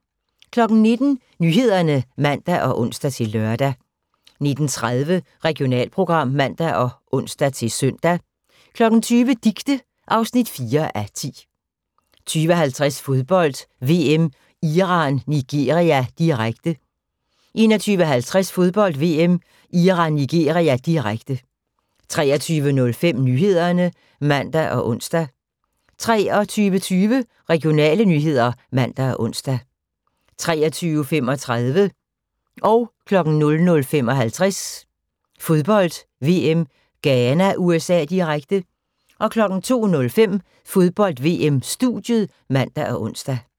19:00: Nyhederne (man og ons-lør) 19:30: Regionalprogram (man og ons-søn) 20:00: Dicte (4:10) 20:50: Fodbold: VM - Iran-Nigeria, direkte 21:50: Fodbold: VM - Iran-Nigeria, direkte 23:05: Nyhederne (man og ons) 23:20: Regionale nyheder (man og ons) 23:35: Fodbold: VM - Ghana-USA, direkte 00:55: Fodbold: VM - Ghana-USA, direkte 02:05: Fodbold: VM - studiet (man og ons)